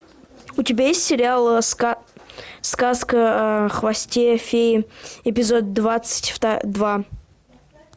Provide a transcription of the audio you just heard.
у тебя есть сериал сказка о хвосте феи эпизод двадцать два